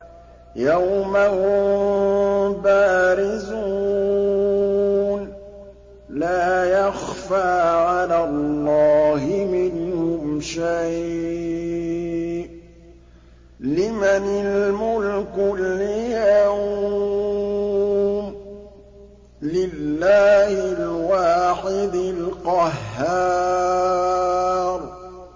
يَوْمَ هُم بَارِزُونَ ۖ لَا يَخْفَىٰ عَلَى اللَّهِ مِنْهُمْ شَيْءٌ ۚ لِّمَنِ الْمُلْكُ الْيَوْمَ ۖ لِلَّهِ الْوَاحِدِ الْقَهَّارِ